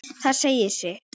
Það segir sitt.